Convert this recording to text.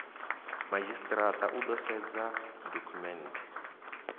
madzhisitirata u ḓo sedza dokhumenthe